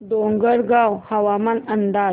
डोंगरगाव हवामान अंदाज